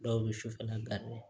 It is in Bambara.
Dɔw bɛ sufɛla